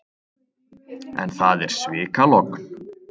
En það er svikalogn.